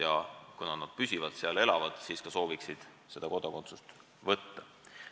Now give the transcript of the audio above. Ja kuna nad püsivalt seal elavad, siis ka sooviksid seda kodakondsust võtta.